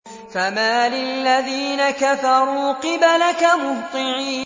فَمَالِ الَّذِينَ كَفَرُوا قِبَلَكَ مُهْطِعِينَ